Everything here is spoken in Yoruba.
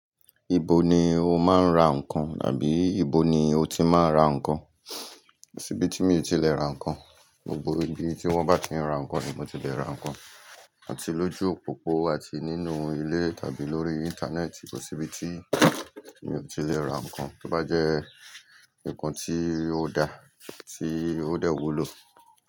Ibo ni o máa ń ra ǹkan tàbí ibo ni o ti máa ń ra ǹkan? Sibí tí mi ò tí lè ra ǹkan, gbogbo ibi tí wọ́n bá ti ń ra ǹkan ni mo ti lè ra ǹkan, àti lójú òpópó àti nínú ilé tàbí lórí Íńtánẹ́ẹ̀tì, kò síbi tí mi ò tí lè ra ǹkan tí ó bá jẹ́ ǹkan tí ó da, tí ó dẹ̀ wúlò.